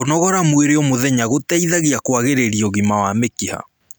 kũnogora mwĩrĩ o mũthenya gũteithagia kũagĩrĩrĩa ũgima wa mĩkiha